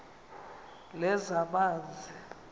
lezamanzi